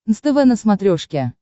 нств на смотрешке